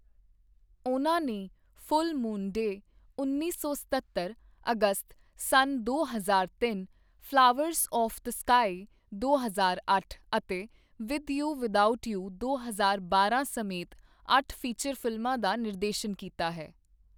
ਉਨ੍ਹਾਂ ਨੇ full moon day ਉੱਨੀ ਸੌ ਸਤੱਤਰ, ਅਗਸਤ ਸਨ ਦੋ ਹਜ਼ਾਰ ਤਿੰਨ, ਫਲਾਵਰਸ ਆੱਫ ਦ ਸਕਾਈ ਦੋ ਹਜ਼ਾਰ ਅੱਠ ਅਤੇ ਵਿਦ ਯੂ, ਵਿਦਆਊਟ ਯੂ ਦੋ ਹਜ਼ਾਰ ਬਾਰਾਂ ਸਮੇਤ ਅੱਠ ਫੀਚਰ ਫਿਲਮਾਂ ਦਾ ਨਿਰਦੇਸ਼ਨ ਕੀਤਾ ਹੈ।